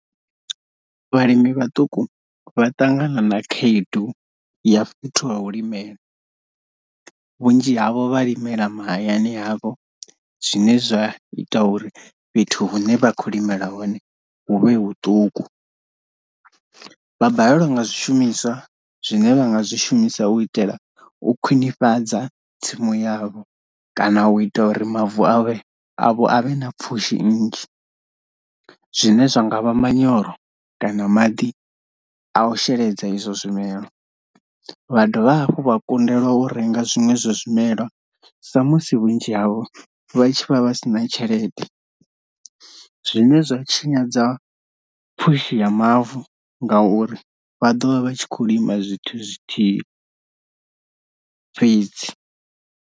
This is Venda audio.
Vhalimi vhaṱuku vha ṱangana na khaedu ya fhethu ha u limela, vhunzhi havho vha limela mahayani havho zwine zwa ita uri fhethu hune vha kho limela hone huvhe huṱuku, vha balelwa nga zwishumiswa zwine vha nga zwishumisa u itela u khwinifhadza tsimu yavho kana u ita uri mavu avhe avho avhe na pfhushi nnzhi zwine zwa ngavha manyoro kana maḓi a u sheledza izwo zwimela, vha dovha hafhu vha kundelwa u renga zwiṅwe zwa zwimelwa sa musi vhunzhi havho vha tshi vha vha vha si na tshelede, zwine zwa tshinyadza pfhushi ya mavu ngauri vha ḓovha vha tshi kho lima zwithu zwithihi fhedzi.